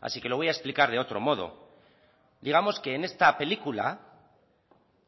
así que lo voy a explicar de otro modo digamos que en esta película